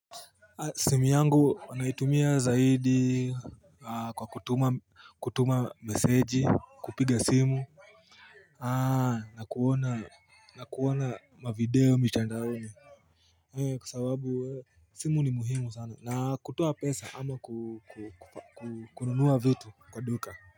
Simu yangu naitumia zaidi kwa kutuma kutuma meseji, kupiga simu nakuona nakuona mavideo mitandaoni kwa sababu simu ni muhimu sana na kutoa pesa ama kukununua vitu kwa duka.